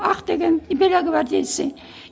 ақ деген белогвардейцы